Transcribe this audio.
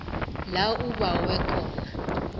la ubawe khona